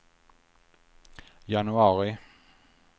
januari